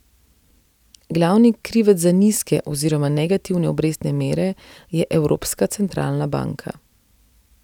Glavni krivec za nizke oziroma negativne obrestne mere je Evropska centralna banka.